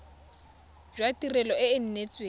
jwa tirelo e e neetsweng